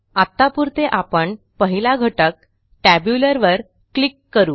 आत्तापुरते आपण पहिला घटक टॅब्युलर वर क्लिक करू